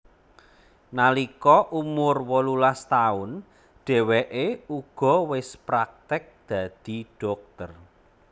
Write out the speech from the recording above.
Nalika umur wolulas taun dheweke uga wis praktik dadi dhokter